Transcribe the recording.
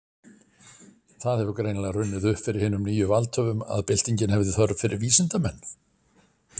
Það hefur greinilega runnið upp fyrir hinum nýju valdhöfum, að byltingin hefði þörf fyrir vísindamenn.